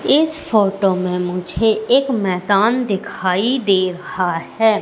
इस फोटो में मुझे एक मैदान दिखाई दे रहा हैं।